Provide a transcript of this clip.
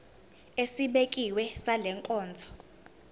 esibekiwe sale nkonzo